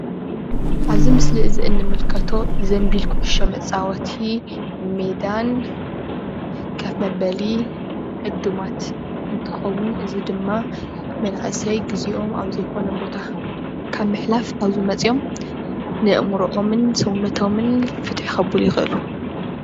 አብዚ ምስሊ እዚ እንምልከቶ ዘምቢል ኩዕሶ መጫወቲ ሜዳን ከፍ መበሊ ዕዱማት እንትከውን እዚ ድማ መናእስይ ግዚኦም አብ ዘይኮነ ቦታ ካብ ምሕላፍ አብዚ መፅዮም ንአእምሮኦምን ስውነቶምን ፍትሕ ከብሉ ይክእሉ፡፡